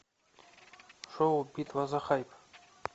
шоу битва за хайп